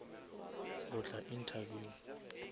go tla interview